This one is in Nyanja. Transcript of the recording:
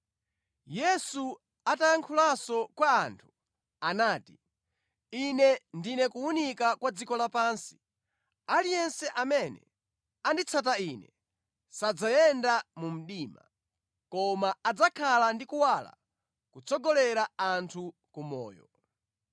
Yesu atayankhulanso kwa anthu, anati, “Ine ndine kuwunika kwa dziko lapansi. Aliyense amene anditsata Ine sadzayenda mu mdima, koma adzakhala ndi kuwala kotsogolera anthu ku moyo.”